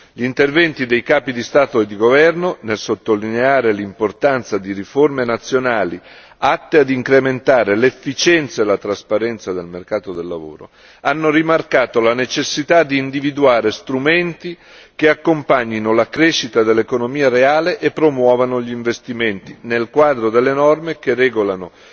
Gli interventi dei capi di Stato e di governo nel sottolineare l'importanza di riforme nazionali atte ad incrementare l'efficienza e la trasparenza del mercato del lavoro, hanno rimarcato la necessità di individuare strumenti che accompagnino la crescita dell'economia reale e promuovano gli investimenti nel quadro delle norme che regolano